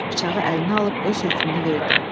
Bıçağı əlinə alıb öz hökmünü verdi.